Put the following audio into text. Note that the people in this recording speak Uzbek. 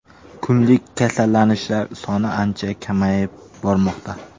Kunlik kasallanishlar soni ancha kamayib bormoqda.